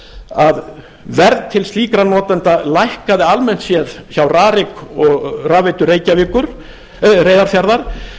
að verð til slíkra notenda lækkaði almennt séð hjá rarik og rafveitu reyðarfjarðar